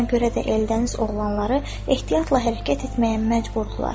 Buna görə də Eldəniz oğlanları ehtiyatla hərəkət etməyə məcburdular.